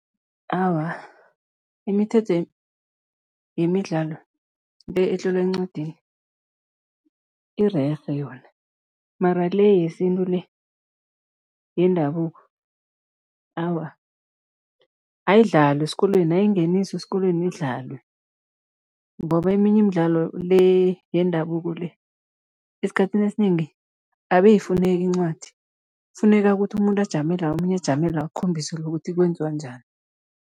Awa, imithetho yemidlalo le etlolwe encwadini irerhe yona mara le yesintu le, yendabuko, awa, ayidlalwe esikolweni, ayingeniswe esikolweni idlalwe ngoba eminye imidlalo le yendabuko le, esikhathini esinengi abe ayifuneki incwadi, kufuneka ukuthi umuntu ajame la, omunye ajame la, akhombise lo ukuthi kwenziwa njani.